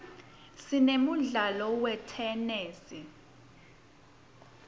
sinemdlalo wetenesi